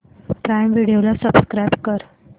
prime Video ला subscribe कर